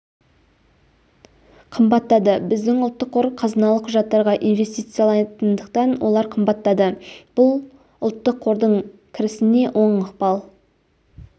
қымбаттады біздің ұлттық қор қазыналық құжаттарға инвестициялайтындықтан олар қымбаттады бұл ұлттық қордың кірісіне оң ықпал